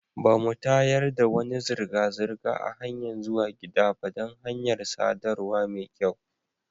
Ba mu tayar da wani zirga-zirga a hanyan zuwa gida ba dan hanyar sadarwa mai kyau.